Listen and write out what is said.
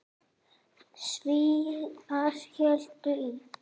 Svíar héldu í